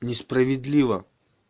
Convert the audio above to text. несправедливо